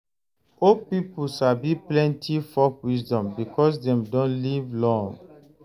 Old pipo sabi plenty folk wisdom because dem don live long.